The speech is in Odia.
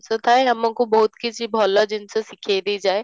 ତ ଥାଏ ଆମକୁ ବହୁତ କିଛି ଭଲ ଜିନିଷ ଶିଖେଇ ଦେଇ ଯାଏ